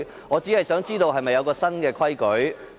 我只想知道是否有新規矩呢？